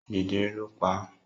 Jẹjẹrẹ ló pa á.